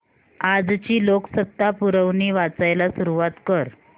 आजची लोकसत्ता पुरवणी वाचायला सुरुवात कर